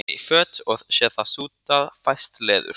Það má nota í föt og sé það sútað fæst leður.